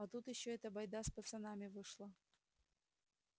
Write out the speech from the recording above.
а тут ещё эта байда с пацанами вышла